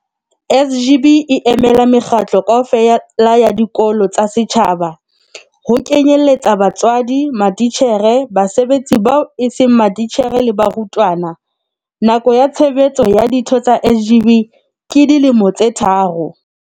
SGB e emela mekgatlo kaofela ya dikolo tsa setjhaba, ho kenyelletsa batswadi, matitjhere, basebetsi bao eseng matitjhere le barutwana. Nako ya tshebetso ya ditho tsa SGB ke dilemo tse tharo.